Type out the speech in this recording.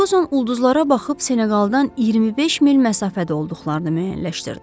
Ferquson ulduzlara baxıb Seneqaldan 25 mil məsafədə olduqlarını müəyyənləşdirdi.